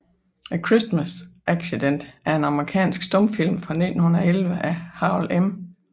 A Christmas Accident er en amerikansk stumfilm fra 1911 af Harold M